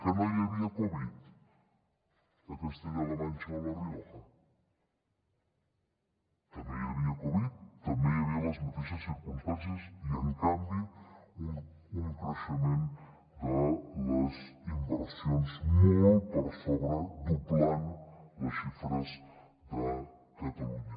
que no hi havia covid a castella la manxa o la rioja també hi havia covid també hi havia les mateixes circumstàncies i en canvi un creixement de les inversions molt per sobre doblant les xifres de catalunya